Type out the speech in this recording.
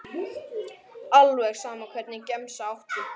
Alveg sama Hvernig gemsa áttu?